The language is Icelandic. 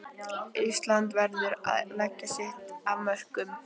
Ísland verður að leggja sitt af mörkum